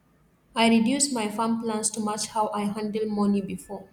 i reduce my farm plans to match how i handle money before